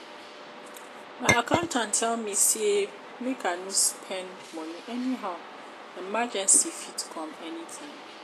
my accountant tell me sey make i no spend moni anyhow emergency fit come anytime.